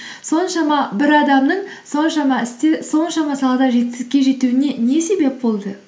соншама бір адамның соншама істе соншама салада жетістікке жетуіне не себеп болды